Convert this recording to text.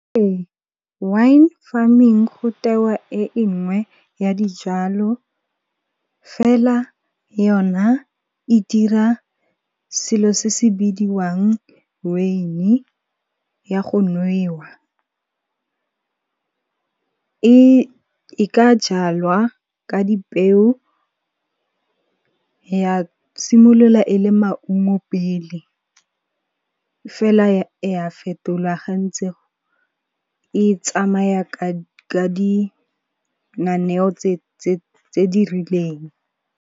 Ee wine farming go tewa e engwe ya dijalo fela yona e dira selo se se bidiwang weini ya go nwewa. E ka jalwa ka dipeo ya simolola e le maungo pele, fela ya fetolwa ga ntse e tsamaya ka di nganewo tse di rileng.